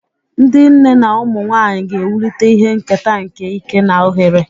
Ndị nne na ụmụ nwanyị ga-ewulite ihe nketa nke ike na ohere.